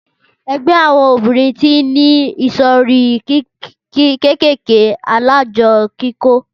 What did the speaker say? Ẹgbẹ́ àwọn obìrin tí n ní ìsòrí kékèké alájọ kíkó